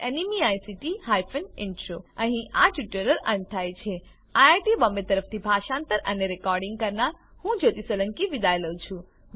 IIT Bombay તરફથી spoken tutorial project માટે ભાષાંતર કરનાર હું જ્યોતી સોલંકી વિદાય લઉં છું